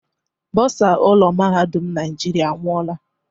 Bòsa ụlọ mahadum Naijiria anwụọla.